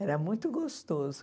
Era muito gostoso.